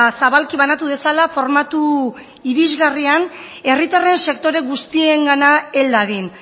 zabalki banatu dezala formatu irisgarrian herritarren sektore guztiengana hel dadin